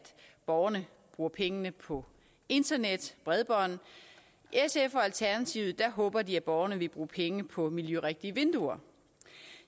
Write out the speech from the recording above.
borgerne bruger pengene på internet og bredbånd i sf og i alternativet håber de at borgerne vil bruge penge på miljørigtige vinduer